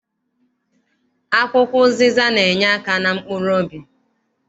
Akwụkwọ ụzịza na- enyeaka na mkpuruobi.